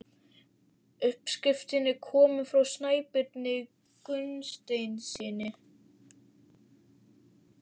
Uppskriftin er komin frá Snæbirni Gunnsteinssyni.